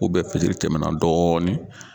fitiri tɛmɛna dɔɔnin.